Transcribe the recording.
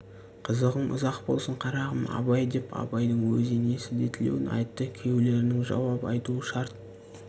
қызығың ұзақ болсын қарағым абай деп абайдың өз енесі де тілеуін айтты күйеулерінің жауап айтуы шарт